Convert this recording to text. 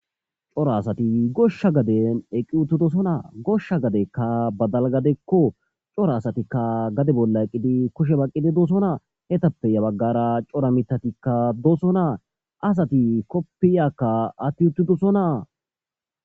coro asati goshsha gaden eqqi uttidosonaa goshsha gadekka badal gadekko cora asatikka gade bolla eqqidi kushe baqqidi doosonaa hetappe ya baggara cora mitatikka doosonaa asati koppiyakka atti uttidosonaa